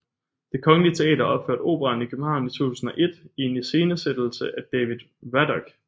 Det Kongelige Teater opførte operaen i København i 2001 i en iscenesættelse af David Radok